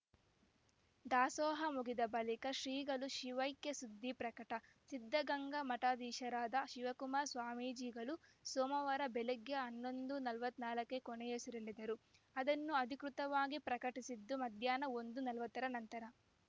ದಾಸೋಹ ಮುಗಿದ ಬಳಿಕ ಶ್ರೀಗಳ ಶಿವೈಕ್ಯ ಸುದ್ದಿ ಪ್ರಕಟ ಸಿದ್ಧಗಂಗಾ ಮಠಾಧೀಶರಾದ ಶಿವಕುಮಾರ ಸ್ವಾಮೀಜಿಗಳು ಸೋಮವಾರ ಬೆಳಗ್ಗೆ ಹನ್ನೊಂದು ನಲವತ್ತ್ ನಾಲ್ಕಕ್ಕೇ ಕೊನೆಯುಸಿರೆಳೆದರೂ ಅದನ್ನು ಅಧಿಕೃತವಾಗಿ ಪ್ರಕಟಿಸಿದ್ದು ಮಧ್ಯಾಹ್ನ ಒಂದು ನಲವತ್ತರ ನಂತರ